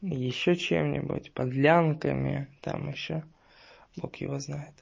ещё чем-нибудь подлянками там ещё бог его знает